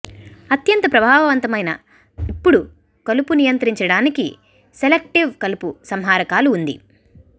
అత్యంత ప్రభావవంతమైన ఇప్పుడు కలుపు నియంత్రించడానికి సెలెక్టివ్ కలుపు సంహారకాలు ఉంది